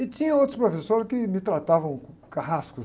E tinha outros professores que me tratavam como carrascos.